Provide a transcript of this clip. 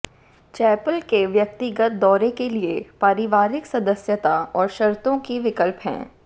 chapel के व्यक्तिगत दौरे के लिए पारिवारिक सदस्यता और शर्तों के विकल्प हैं